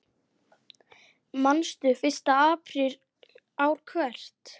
Manstu: Fyrsta apríl ár hvert.